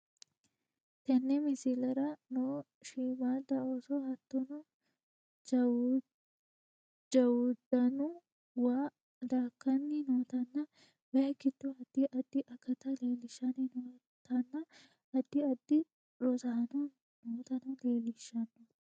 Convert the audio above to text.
Tenne misileraa noo shimadda osso hattono jawuddannu waa dakanni nootana wayyi giido addi addi akatta lelishanni nootanna addi addi rossanno nootano lelishanno